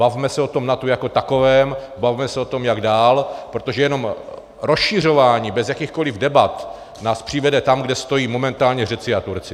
Bavme se o tom NATO jako takovém, bavme se o tom, jak dál, protože jenom rozšiřování bez jakýchkoliv debat nás přivede tam, kde stojí momentálně Řekové a Turci.